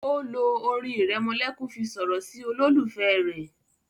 o lo orin iremolekun fí sọrọ sí ololufẹ rẹ.